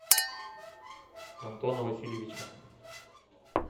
антона васильевича